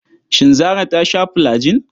Shin Zarah ta sha fulajin?